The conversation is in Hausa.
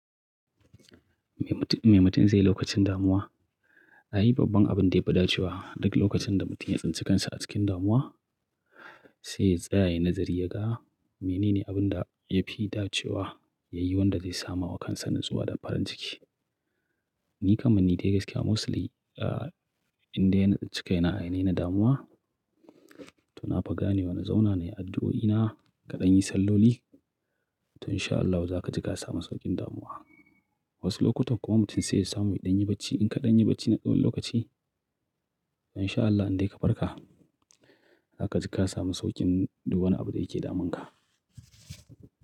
Me mutum, me mutum zai yi lokacin damuwa? Na yi babban abin da ya fi dacewa duk lokacin da mutum ya tsintsikansa a cikin damuwa, sai ya yi nazari ya ga menene abin da ya fi dacewa ya yi wanda zai samu wakansa natsuwa da farin ciki. Ni kamani dai gaskiya mostly inda yana cikaina, ya nena damuwa to na fa gane wana zauna ne addu'o'ina kaɗan yi salloli to insha Allahu za ka ji ka sami sauƙin damuwa. Wasu lokutan kuma mutum zai samu yaɗan yi bacci. In kaɗan yi bacci na tsawon lokaci to insha Allahu indai ka farka, za ka ji ka sami sauƙin duk wani abu da yake damunka.